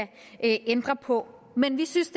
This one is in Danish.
ændre på men vi synes